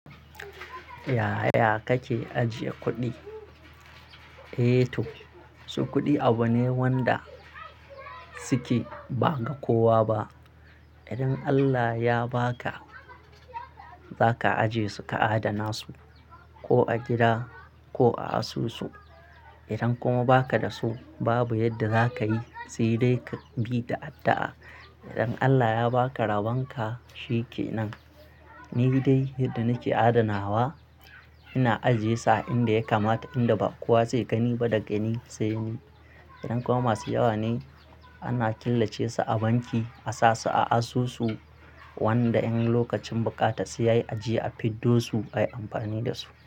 Yaya kake ajiye kuɗi? Eh to, su kuɗi abu ne wanda suke ba ga kowa ba. Idan Allah ya ba ka, za ka ajiye su ka adana su ko a gida ko a asusu. Idan kuma ba ka da su babu yadda za ka yi sai dai ka bi da addu'a. Idan Allah ya ba ka raban ka shi ke nan. Ni dai yadda nake adanawa, ina ajiye sa inda ya kamata inda ba kowa zai gani ba daga ni sai ni. Idan kuma masu yawa ne ana killace su a banki a sa su a asusu wanda in lokacin bukata su yayi a je a fiddo su ayi amfani da su.